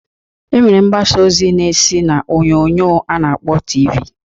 E nwere mgbasa ozi na-esi n'onyoonyo a na-akpọ TV.